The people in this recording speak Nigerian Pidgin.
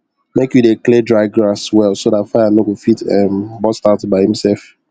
make you dey clear dry grass well so dat fire no go fit um burst out by imself